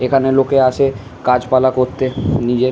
এখানে লোকরা আসে কাজ পালা করতে। নিজের।